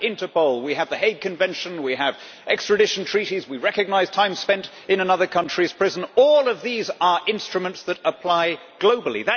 We have Interpol, we have the Hague Convention, we have extradition treaties and we recognise time spent in another country's prison. All of these are instruments that apply globally.